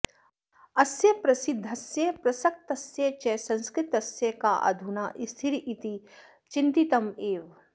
अस्य प्रसिद्धस्य प्रसक्तस्य च संस्कृतस्य का अधुना स्थितिरिति चिन्तितम् एव